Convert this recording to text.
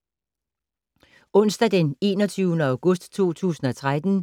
Onsdag d. 21. august 2013